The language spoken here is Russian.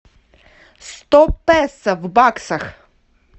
сто песо в баксах